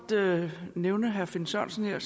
nævne herre finn sørensen her